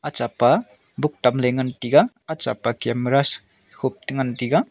acha pa book tamley ngan taiga acha pa camera se khup tengan taiga.